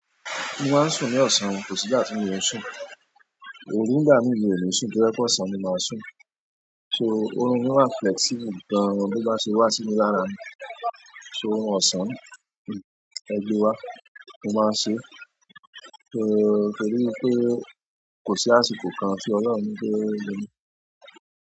Mo máa ń sùn ní ọ̀sán, kò sì ìgbà ti mi ò sùn. Òru nígbà mi mi ò ní sùn, to jẹ̀ pe ọ̀sán ni màá sùn. So, òrun ni wà flexible gan-an bí o bá ṣe wà sí mi lára mi. So, òrun ọ̀sán, ẹgbẹ́ wa, mo máa ń ṣe. So, torí i pé kò sí àsìkò kan tí Ọlọ́run kò lè gba mi.